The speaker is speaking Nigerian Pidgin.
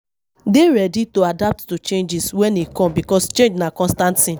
Dey ready to adapt to changes when e come because change na constant thing